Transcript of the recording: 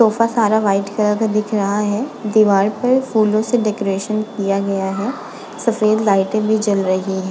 Sofa सारा white colour का दिख रहा है। दीवाल पर फूलों से डेकोरेशन किया गया है। सफ़ेद लाइटें भी जल रही --